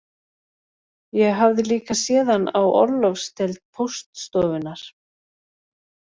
Ég hafði líka séð hann á orlofsdeild póststofunnar